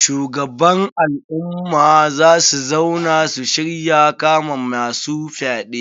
Shugaban al'umma za su zauna su shirya kama masu fyaɗe.